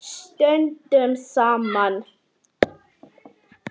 Stöndum saman.